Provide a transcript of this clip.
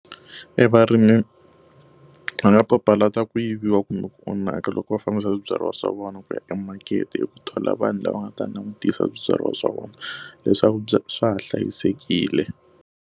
E varimi va nga papalata ku yiviwa kumbe ku onhaka loko va fambisa swibyariwa swa vona ku ya emakete hi ku kala vanhu lava nga ta langutisa swibyariwa swa vona, leswaku swa ha hlayisekile.